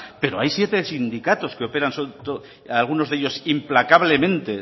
pero hay siete sindicatos que operan algunos de ellos implacablemente